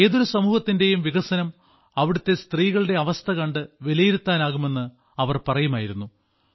ഏതൊരു സമൂഹത്തിന്റെയും വികസനം അവിടത്തെ സ്ത്രീകളുടെ അവസ്ഥ കണ്ട് വിലയിരുത്താനാകുമെന്ന് അവർ പറയുമായിരുന്നു